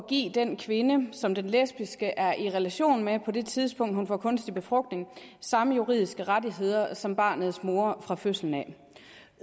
at give den kvinde som den lesbiske er i relation med på det tidspunkt hun får kunstig befrugtning samme juridiske rettigheder som barnets mor fra fødslen af